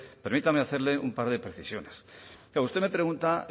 permítame hacerle un par de precisiones usted me pregunta